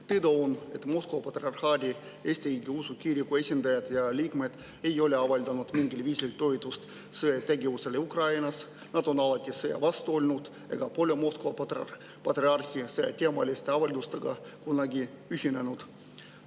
Teada on, et Moskva Patriarhaadi Eesti Õigeusu Kiriku esindajad ja liikmed ei ole avaldanud mingil viisil toetust sõjategevusele Ukrainas, nad on alati sõja vastu olnud ega ole Moskva patriarhi selleteemaliste avaldustega kunagi ühinenud.